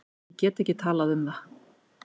Ég get ekki talað um það.